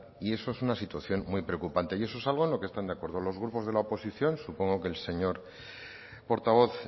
y eso es una situación muy preocupante y eso es algo en lo que están de acuerdo los grupos de la oposición supongo que el señor portavoz